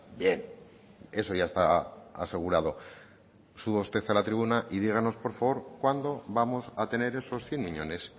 bien eso ya está asegurado suba usted a la tribuna y díganos por favor cuándo vamos a tener esos cien miñones